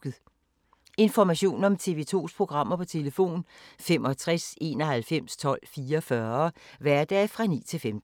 Information om TV 2's programmer: 65 91 12 44, hverdage 9-15.